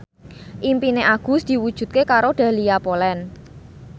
impine Agus diwujudke karo Dahlia Poland